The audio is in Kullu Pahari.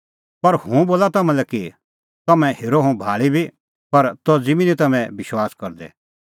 पर हुंह बोला तम्हां लै कि तम्हैं हेरअ हुंह भाल़ी बी पर तज़ी बी निं तम्हैं विश्वास करदै